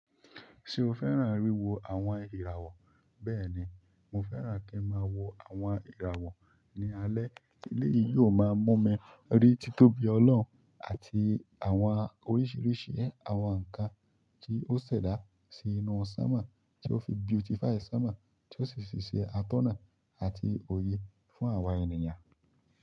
Se o fẹ́ràn wiwo àwọn ìràwọ̀. Bẹ́ẹ̀ni, mo fẹ́ràn kí n máa wo àwọn ìràwọ̀ ní alẹ́. Eleyìí yóò máa mú mi rí títóbi Ọlọ́hun àti àwọn oríṣìíríṣìí àwọn nǹkan tí ó ṣẹ̀dá sí inú sánmọ̀, tí ó fi beautify sánmọ̀, tí ó sì fi se atọ́nà àti òye fún àwa ènìyàn.